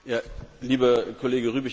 Lieber Kollege Rübig!